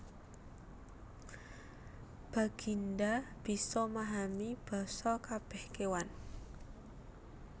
Baginda bisa mahami basa kabeh kewan